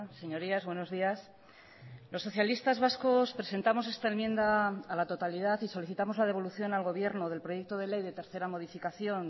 señorías buenos días los socialistas vascos presentamos esta enmienda a la totalidad y solicitamos la devolución al gobierno del proyecto de ley de tercera modificación